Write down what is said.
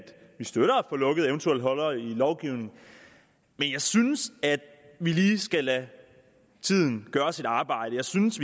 vi støtter at få lukket eventuelle huller i lovgivningen men jeg synes at vi lige skal lade tiden arbejde jeg synes